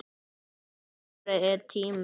Sumarið er tíminn.